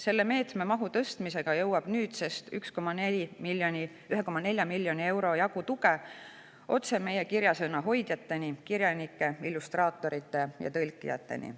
Selle meetme mahu tõstmise tõttu jõuab nüüdsest 1,4 miljoni euro jagu tuge otse meie kirjasõna hoidjateni: kirjanike, illustraatorite ja tõlkijateni.